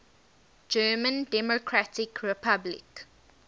german democratic republic